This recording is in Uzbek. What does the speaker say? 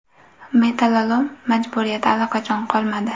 Metallolom majburiyati allaqachon qolmadi.